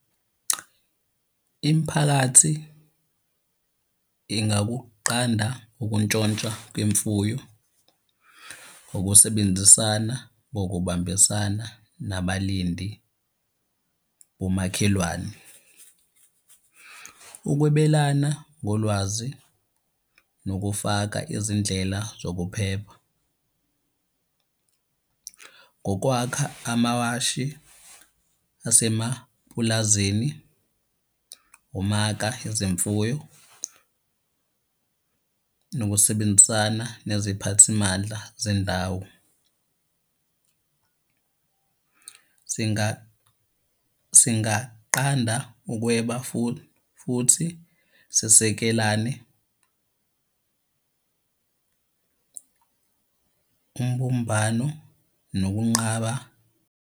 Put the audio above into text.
Imiphakathi ingakuqanda ukuntshontshwa kwemfuyo, ngokusebenzisana ngokubambisana nabalindi bomakhelwane. Ukwebelana ngolwazi nokufaka izindlela zokuphepha ngokwakha amawashi asemapulazini, umaka ezemfuyo, nokusebenzisana neziphathimandla zendawo. Singaqanda ukweba futhi sisekelane umbumbano nokunqaba.